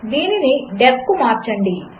దీనిని డీఇఎఫ్ కుమార్చండి